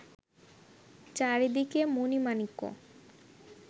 চারিদিকে মণি-মাণিক্য